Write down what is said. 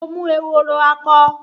Mo mú ehoro akọ